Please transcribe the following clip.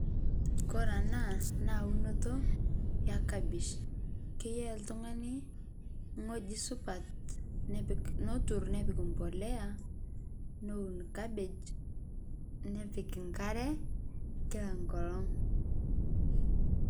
Ore ena naa eunto enkapish keyieu oltung'ani ewueji supat neturr nepik mbolea neun kapej nepik enkare kila enkolong'.